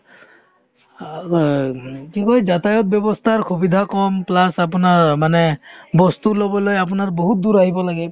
অ গ মানে কি কই যাতায়ত ব্যৱস্থাৰ সুবিধা কম plus আপোনাৰ অ মানে বস্তু ল'বলৈ আপোনাৰ বহুত দূৰ আহিব লাগে